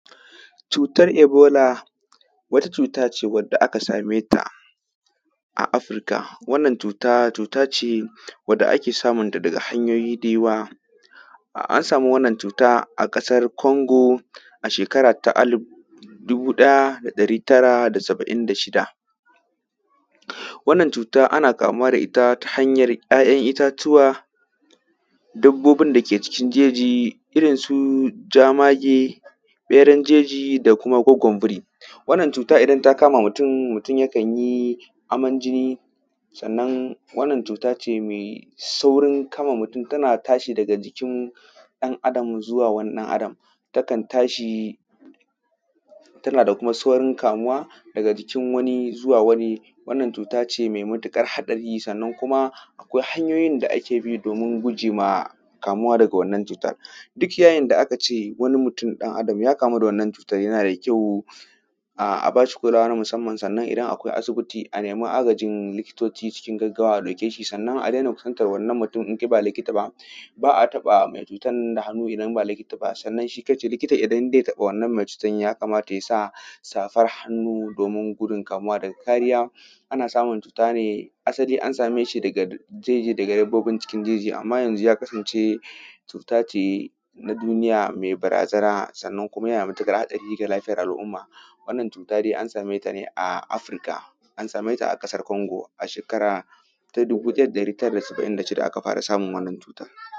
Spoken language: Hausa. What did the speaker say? Cutar ebola, wata cut ace wadda aka same ta a Afirka. Wannan cuta, cuta ce wadda ake samun ta daga hanyoyi da yawa. A; an sami wanna cuta a ƙasar Kongo a shekara ta alib dubu ɗaya da ɗari tara da saba’in da shida. Wannan cuta, ana kamuwa da ita ta hanyar ‘ya’yan itatuwa, dabbobin da ke cikin jeji irin su jamage, ƃeran jeji da kuma goggon biri. Wanna cuta idan ta kama mutum, mutum yakan yi aman jinni, sannan wannan cut ace me saurin kama mutun, tana tashi daga jikin ɗan adam zuwa wani ɗan adam. Takan tashi, tana kuma saurin kamuwa daga jikin wani zuwa wani. Wannan cut ace me mutiƙar haɗari, sannan kuma akwai hanyoyin da ake bi domin guje ma kamuwa daga wanna cutar. Duk yayin da aka ce wani mutum ɗan adam ya kamu da wannan cutar, yana da kyau a; a bashi kulawa na musamman, sanna idan akwai asibiti, a nemi agajin likitoci cikin gaggawa a ɗauke shi. Sannan, a dena kusantar wannan mutun in kai ba likita ba. Ba a taƃa mai cutar nan da hannu idan ba likita ba, sannan shi kan shi likita idan ze taƃa wannan me cutan, ya kamata ya sa safar hannu, domin gudun kamuwa daga kariya, ana samun cuta ne; asali an same shi; zai je daga; yanbagun cikin jeji, amma yanzu ya kasance, cut ace na duniya, me barazana, sannan kuma yana da mutuƙar haɗari ga lafiyar al’umma. Wannan cuta de an same ta ne a Afirka, an same ta a ƙasar Kongo a shekara ta dubu ɗaya da ɗari tara da saba’in da shida aka fara samun wannan cuta.